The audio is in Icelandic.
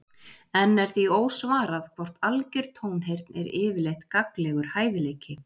Enn er því ósvarað hvort algjör tónheyrn er yfirleitt gagnlegur hæfileiki.